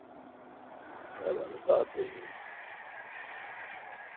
ਪਤਾ ਨਹੀ